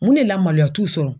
Mun de la maloya t'u sɔrɔ.